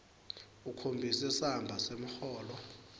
ukhombise samba semholo